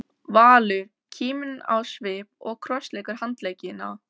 Valur, kíminn á svip og krossleggur handleggina.